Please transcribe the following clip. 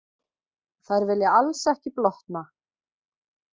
Þær vilja alls ekki blotna.